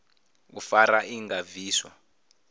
u fara i nga bviswa